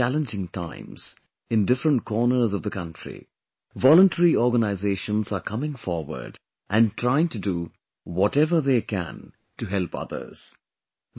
Even in such challenging times, in different corners of the country, voluntary organizations are coming forward and trying to do whatever they can to help others